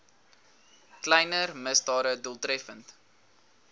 kleiner misdade doeltreffend